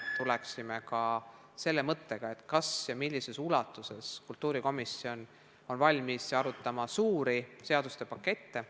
Tuleksime ka selle küsimuse juurde, kas ja millises ulatuses on kultuurikomisjon valmis arutama suuri seaduste pakette.